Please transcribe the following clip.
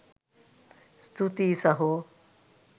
ස්තූතීයී සහෝ